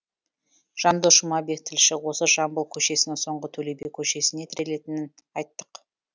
жандос жұмабек тілші осы жамбыл көшесінің соңғы төлеби көшесіне тірелетінін айттық